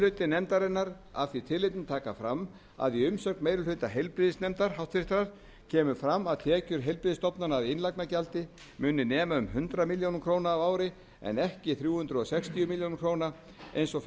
hluti nefndarinnar af því tilefni taka fram að í umsögn meiri hluta háttvirtur heilbrigðisnefndar kemur fram að tekjur heilbrigðisstofnana af innlagnargjaldi muni nema um hundrað milljónir króna á ári en ekki þrjú hundruð sextíu milljónir króna eins og